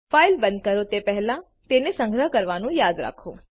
file બંધ કરો તે પહેલા તેને સંગ્રહ કરવાનું યાદ રાખો